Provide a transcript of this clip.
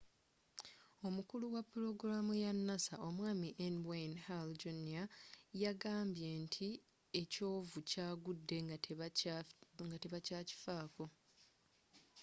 omukulu wa pulogulamu ya nasa omwami n wayne hale jr yagambye nti ekyovu kyagudde nga tebakyakifako